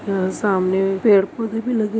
अ सामने पेड़-पौधें भी लगे--